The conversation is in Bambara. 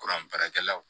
Kuran baarakɛlaw